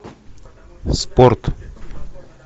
спорт